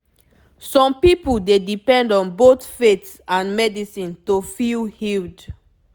some people dey depend on both faith and medicine to feel healed